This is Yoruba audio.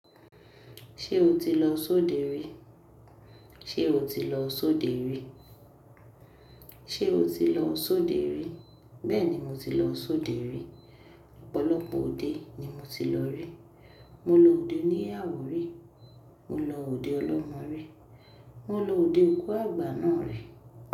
Ṣé o ti lọ Oṣòdì rí? Ṣé o ti lọ Oṣòdì rí? Ṣé o ti lọ Oṣòdì rí? Bẹ́ẹ̀ni mo ti lọ Oṣòdì rí. Ọ̀pọ̀lọpọ̀ òde ni mo ti lọ rí. Mo lọ òde oníyàwò rí, mo lọ òde ọlọ́mọ rí, mo lọ òde òkú àgbà náà rí.